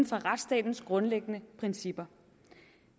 fra retsstatens grundlæggende principper